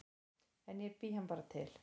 En ég bý hann bara til